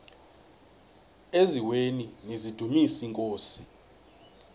eziaweni nizidumis iinkosi